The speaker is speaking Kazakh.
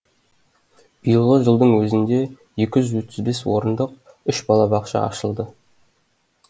биылғы жылдың өзінде екі жүз отыз бес орындық орындық үш балабақша ашылды